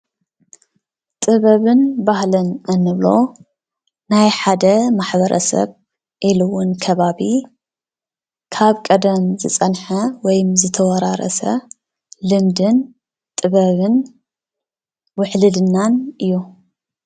ጥበብን ባህልን እንብሎ ናይ ሓደ ማሕበረሰብ ኢሉ እውን ከባቢ ካብ ቀደም ዝፀንሐ ወይ ዝተወራረሰ ልምድን ጥበብን ውሕልልናን እዩ።